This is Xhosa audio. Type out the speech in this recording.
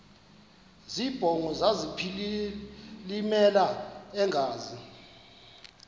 zibongo zazlphllmela engazi